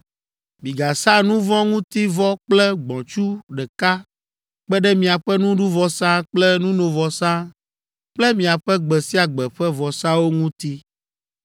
Migasa nu vɔ̃ ŋuti vɔ kple gbɔ̃tsu ɖeka kpe ɖe miaƒe nuɖuvɔsa kple nunovɔsa kple miaƒe gbe sia gbe ƒe vɔsawo ŋuti.